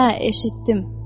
Hə, eşitdim.